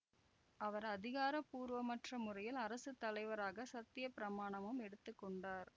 அவர் அதிகாரபூர்வமற்ற முறையில் அரசு தலைவராக சத்தியப்பிரமாணமும் எடுத்து கொண்டார்